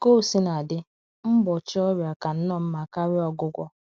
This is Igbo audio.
Ka o sina dị, mgbọchi ọrịa ka nnọọ mma karia ọgwụgwọ